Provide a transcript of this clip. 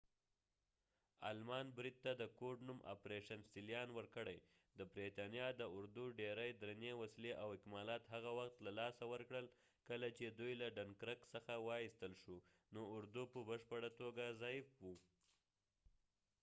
آلمان بريد ته د کوډ-نوم ” آپریشن سیلیان” ورکړی- د برتانیا د اردو ډیری درنې وسلې او اکمالات هغه وخت له لاسه ورکړل، کله چې دوئ له ډنکرک څخه وایستل شو، نو اردو په بشپړه توګه ضعیف و۔